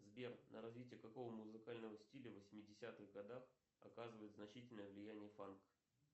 сбер на развитие какого музыкального стиля в восьмидесятых годах оказывает значительное влияние фанк